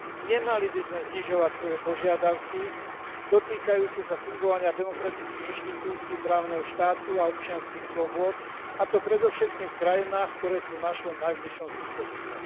Nemali by sme znižovať svoje požiadavky týkajúce sa fungovania demokratických inštitúcií, právneho štátu a občianskych slobôd, a to predovšetkým v krajinách, ktoré sú v našom najbližšom susedstve.